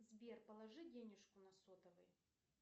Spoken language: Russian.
сбер положи денежку на сотовый